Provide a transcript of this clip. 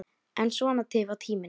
En svona tifar tíminn.